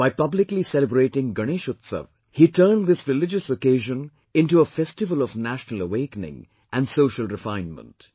By publicly celebrating Ganesh Utsav, he turned this religious occasion into a festival of national awakening and social refinement